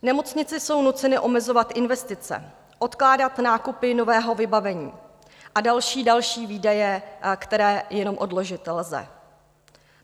Nemocnice jsou nuceny omezovat investice, odkládat nákupy nového vybavení a další, další výdaje, které jenom odložit lze.